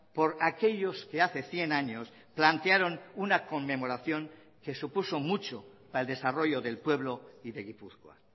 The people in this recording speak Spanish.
por aquellos que hace cien años plantearon una conmemoración que supuso mucho para el desarrollo del pueblo y de gipuzkoa